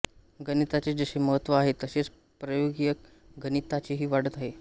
गणिताचे जसे महत्त्व आहे तसेच प्रायोगिक गणिताचेही वाढत आहे